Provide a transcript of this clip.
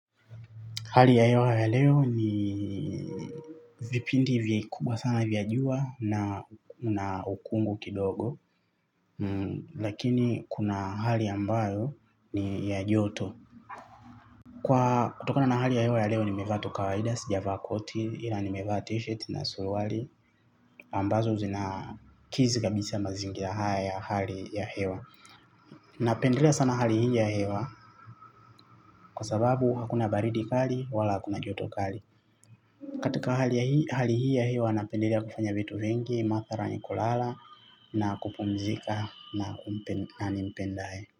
Hali ya hewa ya leo ni vipindi vikubwa sana vya jua na ukungu kidogo. Lakini kuna hali ambayo ni ya joto. Kwa kutokana na hali ya hewa ya leo nimevaa tu kawaida sijavaa koti ila nimevaa tshirt na suluali. Ambazo zina kizi kabisa mazingira haya ya hali ya hewa. Napendelea sana hali hii ya hewa kwa sababu hakuna baridi kali wala hakuna joto kali. Katika hali hii ya hii nanapendelea kufanya vitu vingi, mathara ni kulala na kupumzika na nimpendaye.